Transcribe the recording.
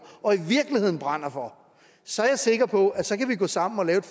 og i virkeligheden brænder for så er jeg sikker på at vi så kan gå sammen om at